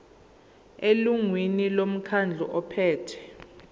elungwini lomkhandlu ophethe